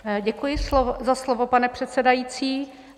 Děkuji za slovo, pane předsedající.